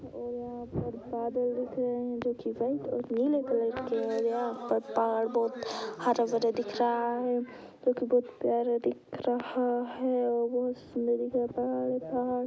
औरर और बादल दिख रहे है जो की और नीले कलर के हैं | यहाँ पर पहाड़ बहुत हरा भरा दिख रहा है जो की बहुत प्यारा दिख रहा है। बहुत सुंदर है पहाड़ |